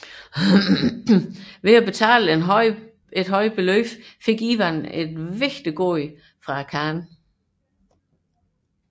Ved at betale en høj tribut fik Ivan et vigtigt gode fra khanen